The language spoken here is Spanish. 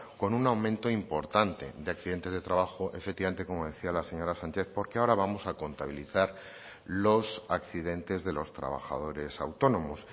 con un aumento importante de accidentes de trabajo efectivamente como decía la señora sánchez porque ahora vamos a contabilizar los accidentes de los trabajadores autónomos